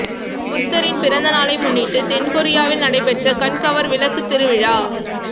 புத்தரின் பிறந்த நாளை முன்னிட்டு தென்கொரியாவில் நடைபெற்ற கண்கவர் விளக்கு திருவிழா